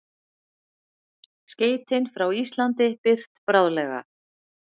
Skeytin frá Íslandi birt bráðlega